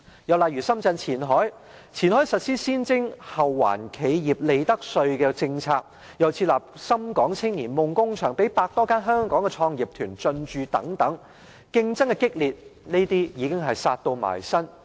又例如深圳前海，前海實施先徵後還企業利得稅的政策，又設立深港青年夢工場，讓百多間香港創業團隊進駐，激烈之競爭已是迫在眉睫。